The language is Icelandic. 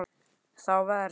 Þá verð